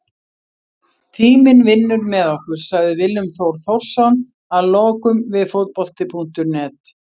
Tíminn vinnur með okkur, sagði Willum Þór Þórsson að lokum við Fótbolti.net.